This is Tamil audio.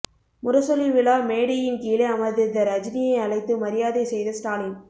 முரசொலி விழா மேடையின் கீழே அமர்ந்திருந்த ரஜினியை அழைத்து மரியாதை செய்த ஸ்டாலின்